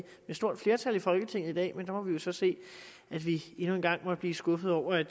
stort flertal i folketinget i dag men der kan vi så se at vi endnu en gang må blive skuffede over at